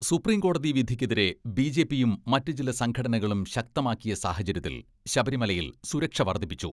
Supreme കോടതി വിധിക്കെതിരെ ബിജെപിയും മറ്റു ചില സംഘടനകളും ശക്തമാക്കിയ സാഹചര്യത്തിൽ ശബരിമലയിൽ സുരക്ഷ വർദ്ധിപ്പിച്ചു.